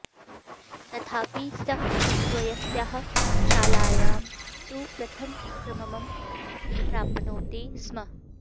तथापि सः स्वस्याः शालायं तु प्रथमक्रमम् प्राप्नोति स्म